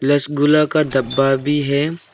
रसगुल्ला का डब्बा भी है।